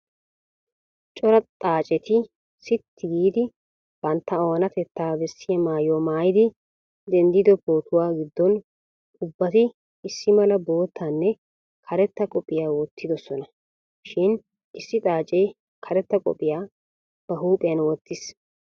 Cora xaaceti sitti giigi bantta oonatettaa bessiya maayuwa maayidi denddido pootuwa gidfon ubbati issi mala boottanne karetta koppiyiya wottidosona shin issi xaacee karetta koppiyiya ba huuphiyan wottiis.